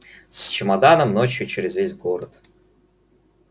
с чемоданом ночью через весь город